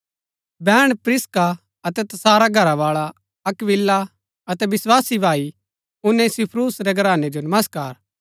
बैहण प्रिस्का अतै तसारा घरावाळा अक्‍विला अतै विस्वासी भाई उनेसिफुरूस रै घरानै जो नमस्कार